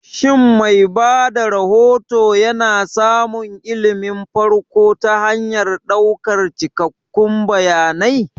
Shin mai ba da rahoto yana samun ilimin farko ta hanyar ɗaukan cikakkun bayanai?